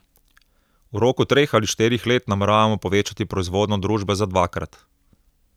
V roku treh ali štirih let nameravamo povečati proizvodnjo družbe za dvakrat.